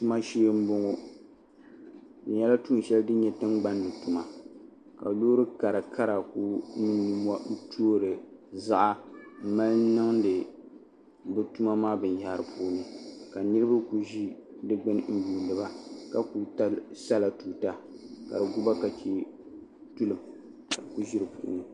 Tuma shee n boŋo di nyɛla tuun shɛli din nyɛ tingbanni tuma ka loori karakara ku toori ziɣa n mali niŋdi bi tuma maa binyahari puuni ka niraba ku ʒi di gbuni n yuundiba ka ku sala tuuta ka di guba ka chɛ tulim ka bi ku ʒi di puuni